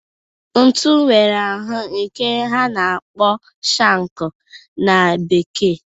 Ntu nwere ahụ nke a na-akpọ shankụ na Bekee.